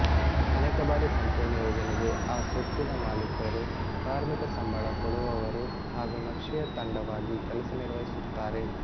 ಅನೇಕ ಬಾರಿ ಸಂಪೂರ್ಣ ಯೋಜನೆಗೆ ಆ ಸೊತ್ತಿನ ಮಾಲಿಕರು ಕಾರ್ಮಿಕ ಸಂಬಳ ಕೊಡುವವರು ಹಾಗೂ ನಕ್ಷೆಯ ತಂಡವಾಗಿ ಕೆಲಸ ನಿರ್ವಹಿಸುತ್ತಾರೆ